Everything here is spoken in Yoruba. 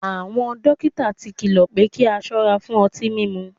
Awọn dokita ti kilọ pe ki a sọra fun ọti mimu